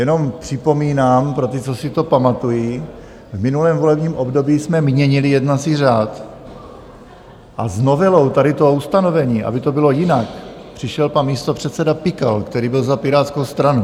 Jenom připomínám pro ty, co si to pamatují: v minulém volebním období jsme měnili jednací řád a s novelou tady toho ustanovení, aby to bylo jinak, přišel pan místopředseda Pikal, který byl za Pirátskou stranu.